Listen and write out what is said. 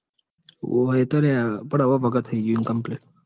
હોવ એતો લ્યા પણ હવે ભાગ થઇ ગયું complete